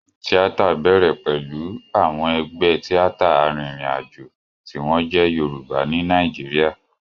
Tíátà bẹ̀rẹ̀ pẹ̀lú àwọn ẹgbẹ́ tíátà arìnrìnàjò tí wọ́n jẹ́ Yorùbá ní Nàìjíríà.